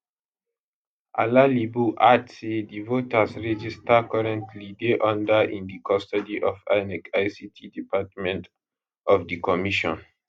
alalibo add say di voters register currently dey under in di custody of inec ict department of di commission